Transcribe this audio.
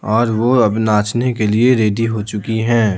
और वह अब नाचने के लिए रेडी हो चुकी हैं।